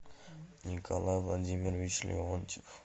николай владимирович леонтьев